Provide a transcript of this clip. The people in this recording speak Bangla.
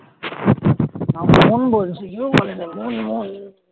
আমার মন বলছে ঈদ ও বলে দেবে মন মন